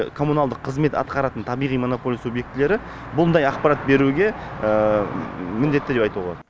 коммуналдық қызмет атқаратын табиғи монополия субъектілері бұндай ақпарат беруге міндетті деп айтуға болады